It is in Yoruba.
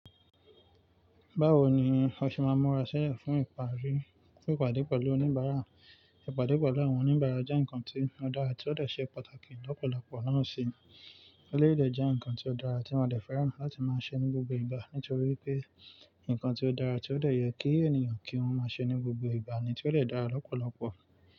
Báwo ni o ṣe máa ń múra sílẹ̀ fún ìpàdé pẹ̀lú oníbàárà? Ìpàdé pẹ̀lú àwọn oníbàárà jẹ́ ǹkan tí ó dára tí ó dẹ̀ ṣe pàtàkì lọ́pọ̀lọpọ̀ náà sì eleyi de jẹ́ ǹkan tí ó dára tí mo de fẹ́ràn láti máa ṣe ní gbogbo ìgbà nítorí pé ǹkan tí ó dára tí ó dẹ̀ yẹ kí ènìyàn kí wọ́n máa ṣe ní gbogbo ìgbà ni tí ó dẹ̀ dára lọ́pọ̀lọpọ̀.